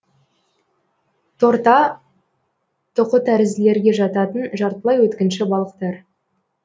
торта тұқытәрізділерге жататын жартылай өткінші балықтар